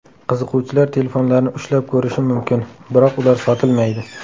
Qiziquvchilar telefonlarni ushlab ko‘rishi mumkin, biroq ular sotilmaydi.